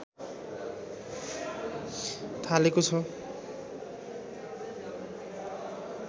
थालेको छ